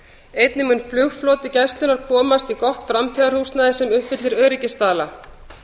einnig mun flugfloti gæslunnar komast í gott framtíðarhúsnæði sem uppfyllir öryggisstaðla